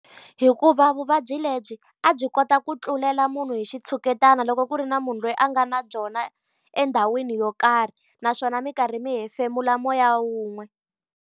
Hikuva vuvabyi lebyi a byi kota ku tlulela munhu hi xitshuketana loko ku ri na munhu loyi a nga na byona endhawini yo karhi, naswona mi karhi mi hefemula moya wun'we.